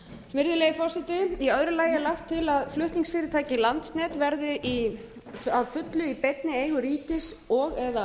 tíma í öðru lagi er lagt til að flutningsfyrirtækið landsnet verði að fullu í beinni eigu ríkis og eða